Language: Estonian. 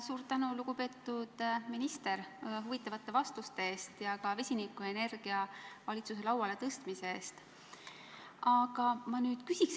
Suur tänu, lugupeetud minister, huvitavate vastuste eest ja ka vesinikuenergiateema valitsuse lauale tõstmise eest!